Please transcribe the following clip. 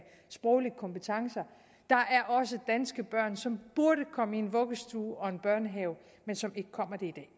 sproglige kompetencer der er også danske børn som burde komme i vuggestue og børnehave men som ikke kommer det